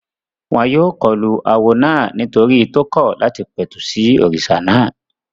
Wọ́n yóò kọlu awo náà nítorí tó kọ̀ láti pẹ̀tù sí òrìṣà náà